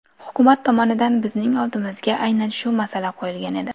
Hukumat tomonidan bizning oldimizga aynan shu masala qo‘yilgan edi.